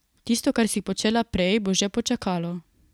Tisto, kar si počela prej, bo že počakalo.